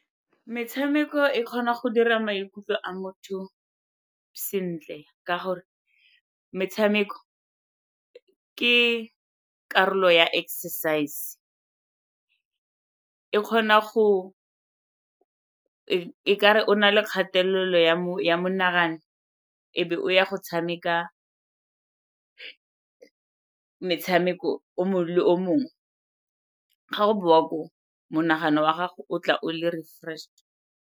Metshameko e kgona go dira maikutlo a motho sentle ka gore metshameko ke karolo ya exercise, e kgona go e ka re o na le kgatelelo ya monagano e be o ya go tshameka metshameko o mongwe le o mongwe, ga o boa koo, monagano wa gago o tla o le refreshed.